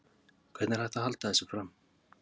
Hvernig er hægt að halda þessu fram?